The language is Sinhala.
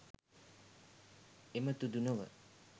එමතුදු නොව,